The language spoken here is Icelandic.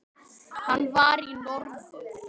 Hann var í norður.